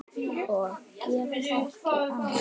Og get ekki annað.